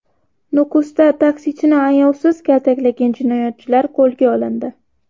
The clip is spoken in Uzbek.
Nukusda taksichini ayovsiz kaltaklagan jinoyatchilar qo‘lga olindi.